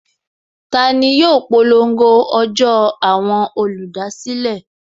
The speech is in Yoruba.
Tani yóò polongo ọjọ́ àwọn olùdásílẹ̀?